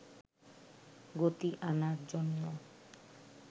গতি আনার জন্য